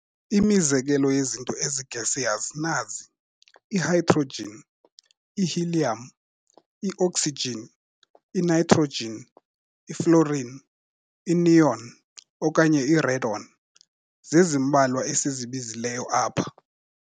Imizekelo yezinto ezi-gaseous nazi- i-hydrogen, i-helium, i-oxygen, i-nitrogen, i-fluorine, i-neon, okanye i-radon, zezimbalwa esizibizileyo apha.